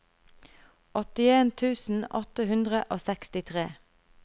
åttien tusen åtte hundre og sekstitre